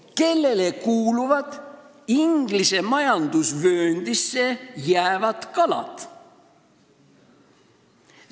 Kellele kuuluvad Inglise majandusvööndisse jäävad kalad?